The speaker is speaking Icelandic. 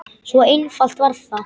Svo einfalt var það.